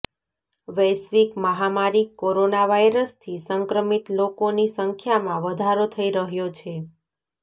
વૈશ્વિક મહામારી કોરોના વાયરસથી સંક્રમિત લોકોની સંખ્યામાં વધારો થઈ રહ્યો છે